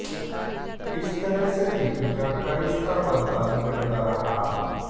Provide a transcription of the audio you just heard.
इस तरह से दीपिका का रिश्ता बनता बिगड़ता रहा